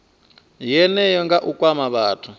yeneyo nga u kwama vhathu